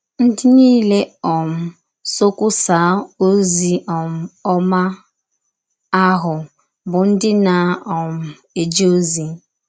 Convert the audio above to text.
Ndị niile um sọ kwụsaa ọzi um ọma ahụ bụ ndị na - um eje ọzi.